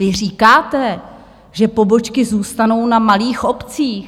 Vy říkáte, že pobočky zůstanou na malých obcích.